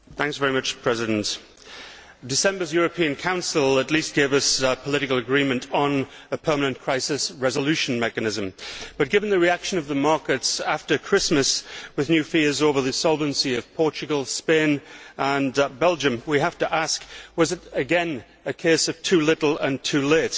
Mr President, December's European Council at least gave us political agreement on a permanent crisis resolution mechanism but given the reaction of the markets after Christmas, with new fears over the solvency of Portugal, Spain, and Belgium we have to ask whether, once again, this was a case of too little too late'.